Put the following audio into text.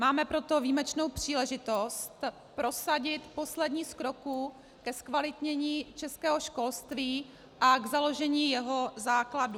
Máme proto výjimečnou příležitost prosadit poslední z kroků ke zkvalitnění českého školství a k založení jeho základů.